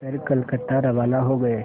कर कलकत्ता रवाना हो गए